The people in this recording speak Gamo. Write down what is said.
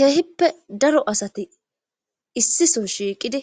Keehippe daro asati issison shiiqidi